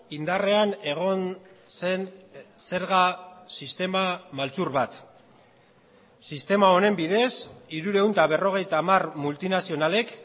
indarrean egon zen zerga sistema maltzur bat sistema honen bidez hirurehun eta berrogeita hamar multinazionalek